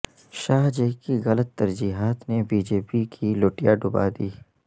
شاہ جی کی غلط ترجیحات نے بی جے پی کی لٹیا ڈوبا دی